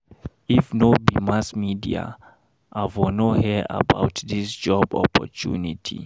If no be mass media, I for no hear about dis job opportunity.